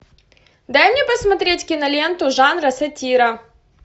дай мне посмотреть киноленту жанра сатира